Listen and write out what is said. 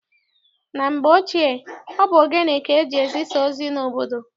Na mgbe ochie, ọ bụ ogene ka eji-ezisa ozi n'obodo.